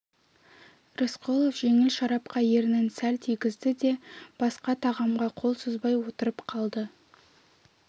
рысқұлов жеңіл шарапқа ернін сәл тигізді де басқа тағамға қол созбай отырып қалды